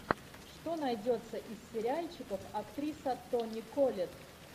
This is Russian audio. что найдется из сериальчиков актриса тони коллетт